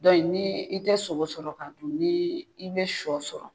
ni tɛ sogo sɔrɔ ka dun, ni i bɛ sɔ sɔrɔ